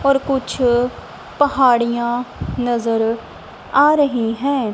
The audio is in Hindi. और कुछ पहाड़ियां नजर आ रही हैं।